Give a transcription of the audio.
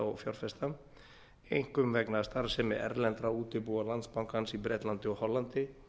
og fjárfesta einkum vegna starfsemi erlendra útibúa landsbankans í bretlandi og hollandi